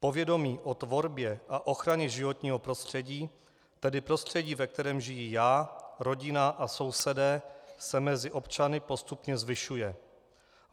Povědomí o tvorbě a ochraně životního prostředí, tedy prostředí, ve kterém žiji já, rodina a sousedé, se mezi občany postupně zvyšuje.